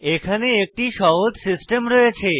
এখানে একটি সহজ সিস্টেম রয়েছে